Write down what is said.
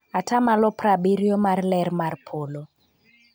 %70 mar ler mar polo.